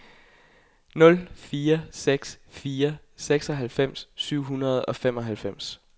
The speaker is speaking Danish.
nul fire seks fire seksoghalvfems syv hundrede og femoghalvfems